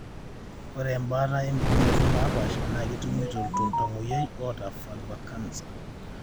ore embaata opukunot napaasha na ketumoyu toltamoyia oata vulva canser.